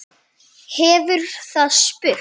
hefur það spurt.